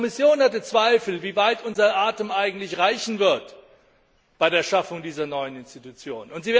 Und auch die Kommission hatte Zweifel, wie weit unser Atem eigentlich reichen wird bei der Schaffung dieser neuen Institution.